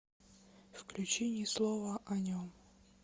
включи ни слова о нем